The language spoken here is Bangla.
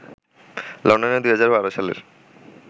লন্ডনে ২০১২ সালের